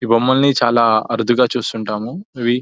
ఈ బొమ్మల్ని చాలా అరుదుగా చూస్తుంటాము ఇవి --